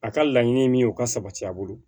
A ka laɲini min ye o ka sabati a bolo